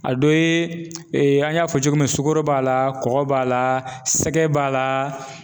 A dɔ ye an y'a fɔ cogo min sukoro b'a la, kɔkɔ b'a la sɛgɛn b'a la